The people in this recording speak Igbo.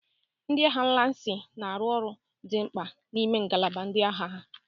Ndị agha lansi na-arụ ọrụ dị mkpa n'ime ngalaba ndị agha ha.